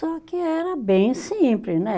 Só que era bem simples, né?